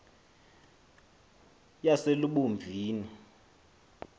yaselubomvini